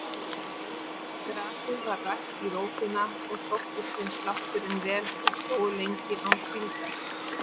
Grasið var rakt í rótina og sóttist þeim slátturinn vel og slógu lengi án hvíldar.